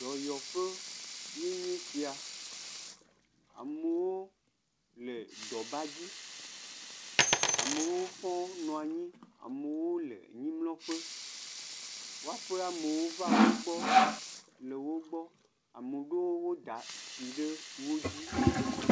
Dɔyɔƒe ye nye sia. Amewo le dɔbadzi. Amewo hã nɔ anyi, amewo le anyimlɔƒe. Woaƒe amewo va wogbɔ le wogbɔ. Ame ɖewo da tsi ɖe wodzi.